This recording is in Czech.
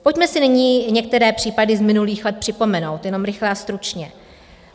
Pojďme si nyní některé případy z minulých let připomenout, jenom rychle a stručně.